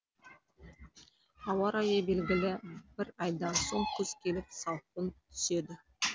ауа райы белгілі бір айдан соң күз келіп салқын түседі